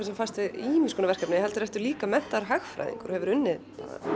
sem fæst við ýmis verkefni heldur ertu líka menntaður hagfræðingur og hefur unnið